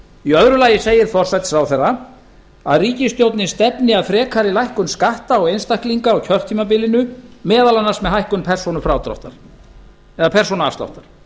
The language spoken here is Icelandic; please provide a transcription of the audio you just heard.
í öðru lagi segir forsætisráðherra að ríkisstjórnin stefni að frekari lækkun skatta á einstaklinga á kjörtímabilinu meðal annars með hækkun persónuafsláttar